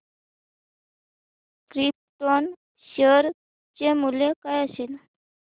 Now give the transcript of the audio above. krypton share चे मूल्य काय असेल